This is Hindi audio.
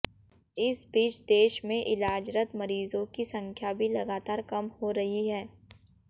इस बीच देश में इलाजरत मरीजों की संख्या भी लगातार कम हो रही है